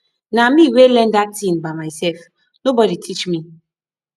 na me wey learn dat thing by myself no body teach me